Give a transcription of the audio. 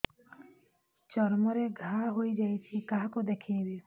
ଚର୍ମ ରେ ଘା ହୋଇଯାଇଛି କାହାକୁ ଦେଖେଇବି